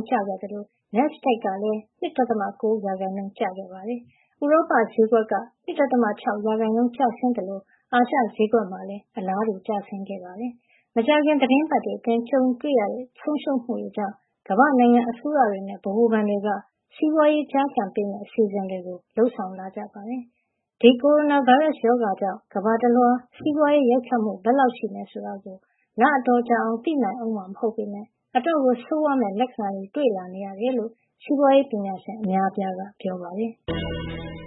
% ကျသွားသလို NASDAQ ကလည်း ၂.၉ % ကျသွားတာပါ။ဥရောပ ဈေးကွက်က ၂.၆ % ကျဆင်းသလို အာရှ ဈေးကွက်မှာလည်း အလားတူ ကျဆင်း သွားပါတယ်။ မကြာခင် သီတင်းပတ်တွေ အတွင်း ကြုံရတဲ့ ဆုံးရှုံးမှုတွေ ကြောင့် ကမ္ဘာ့ နိုင်ငံ အစိုးရတွေနဲ့ ဗဟိုဘဏ်တွေက စီးပွားရေး ကျားကန်ပေးမယ့် အစီအစဉ် တွေကို လုပ်ဆောာင်လာကြပါတယ်။ ဒီကိုရိုနာ ဗိုင်းရပ်စ် ရောဂါကြောင့် ကမ္ဘာတလွှား စီးပွားရေး ရိုက်ခတ်မှု ဘယ်လောက် ရှိမယ် ဆိုတာကို လအတော်ကြာ အောင် သိနိုင်ဦးမှာ မဟုတ်ပေမယ့် အတော့်ကို ဆိုးဝါး မယ့် လက္ခဏာတွေ တွေ့လာနေရတယ်လို့ စီးပွားရေး ပညာရှင် အများအပြားက ပြောပါတယ်။